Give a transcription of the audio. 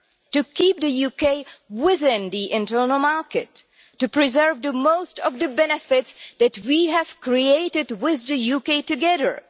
To keep the UK within the internal market to preserve most of the benefits that we have created with the UK together.